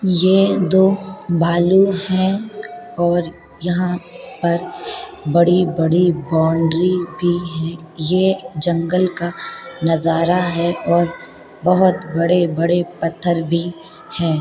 ये दो भालू हैं और यहाँ पर बड़ी-बड़ी बाउंड्री भी है। ये जंगल का नजारा है और बहोत बड़े-बड़े पत्थर भी हैं।